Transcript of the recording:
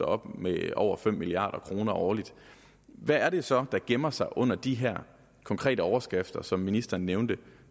op med over fem milliard kroner årligt hvad er det så der gemmer sig under de her konkrete overskrifter som ministeren nævnte